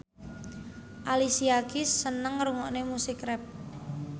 Alicia Keys seneng ngrungokne musik rap